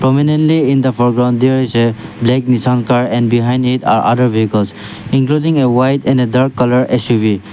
prominently in the floor ground there is a like some car and behind it other vehicle including a white and dark colour